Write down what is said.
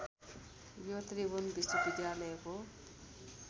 यो त्रिभुवन विश्वविद्यालयको